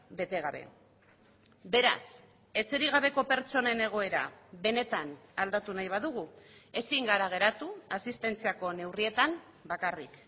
bete gabe beraz etxerik gabeko pertsonen egoera benetan aldatu nahi badugu ezin gara geratu asistentziako neurrietan bakarrik